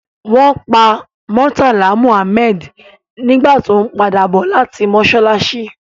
Won pa Murtala Muhammed nigba to n pada bo lati mosalasi